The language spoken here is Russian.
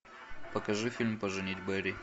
покажи фильм поженить бэрри